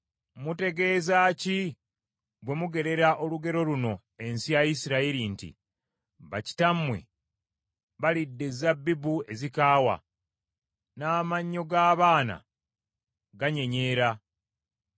“Mutegeeza ki bwe mugerera olugero luno ensi ya Isirayiri nti, “ ‘Bakitaabwe balidde ezabbibu ezikaawa, n’amannyo g’abaana ganyenyeera’?